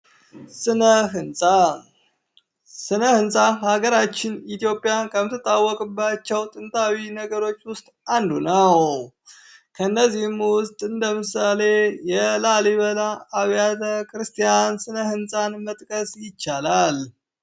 ስነ ህንፃ ስነ ህንፃ ሀገራችን ኢትዮጵያ ከምትታወቅባቸው ጥንታዊ ነገሮች ውስጥ አንዱ ነው። ከነዚህም ውስጥ እንደምሳሌ የላሊበላ አብያተ ክርስቲያ ስነ-ህንፃን መጥቀስ ይቻላል።